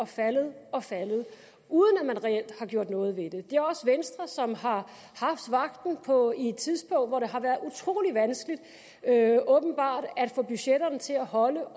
faldet og faldet uden at man reelt har gjort noget ved det det er også venstre som har haft vagten på et tidspunkt hvor det åbenbart har været utrolig vanskeligt at få budgetterne til at holde